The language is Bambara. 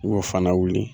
N y'o fana wuli